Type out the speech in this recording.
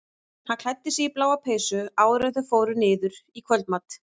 Hann klæddi sig í bláa peysu áður en þau fóru niður í kvöldmat.